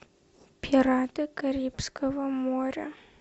пираты карибского моря